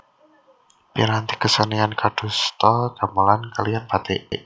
Piranti kesenian kadosta gamelan kaliyan batik